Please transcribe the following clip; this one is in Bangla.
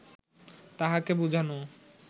তাহাকে বুঝানো